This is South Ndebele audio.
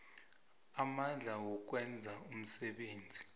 amandla wokwenza umsebenzi